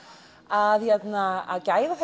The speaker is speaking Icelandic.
að að gæða